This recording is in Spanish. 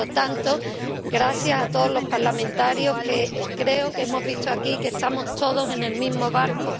Por lo tanto, gracias a todos los parlamentarios, creo que hemos visto aquí que estamos todos en el mismo barco.